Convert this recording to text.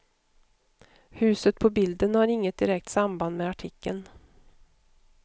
Huset på bilden har inget direkt samband med artikeln.